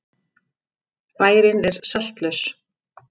Bærinn er saltlaus.